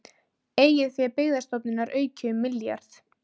Eigið fé Byggðastofnunar aukið um milljarð